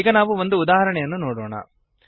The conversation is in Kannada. ಈಗ ನಾವು ಒಂದು ಉದಾಹರಣೆಯನ್ನು ನೋಡೋಣ